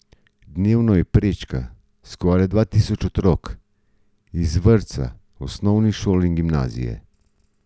Dnevno jo prečka skoraj dva tisoč otrok iz vrtca, osnovnih šol in gimnazije.